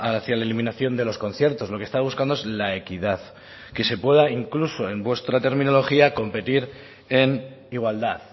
hacia la eliminación de los conciertos lo que estaba buscando es la equidad que se pueda incluso en vuestra terminología competir en igualdad